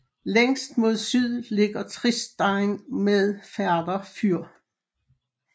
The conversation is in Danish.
Længst mod syd ligger Tristein med Færder fyr